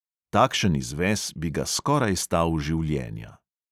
Takšen izves bi ga skoraj stal življenja.